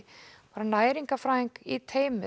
næringarfræðing í teymi